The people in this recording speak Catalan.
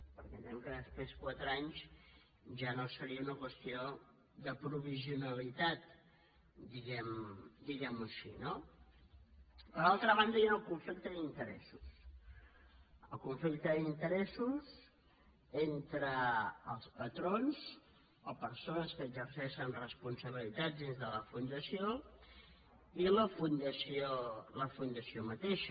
perquè entenem que després de quatre anys ja no seria una qüestió de provisionalitat diguem·ho així no per altra banda hi ha un conflicte d’interessos un conflicte d’interessos entre els patrons o persones que exerceixen responsabilitats dins de la fundació i la fundació mateixa